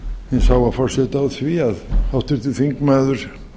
hins háa forseta á því að háttvirtur þingmaður